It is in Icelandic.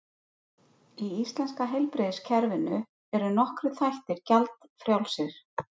Í íslenska heilbrigðiskerfinu eru nokkrir þættir gjaldfrjálsir.